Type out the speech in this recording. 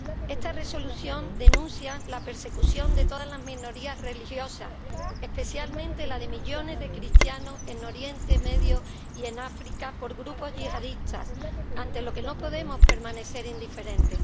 Esta Resolución denuncia la persecución de todas las minorías religiosas, especialmente la de millones de cristianos en Oriente Medio y en África por grupos yihadistas, ante lo que no podemos permanecer indiferentes.